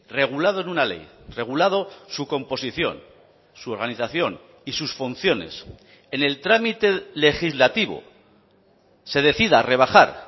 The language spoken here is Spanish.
regulado en una ley regulado su composición su organización y sus funciones en el trámite legislativo se decida rebajar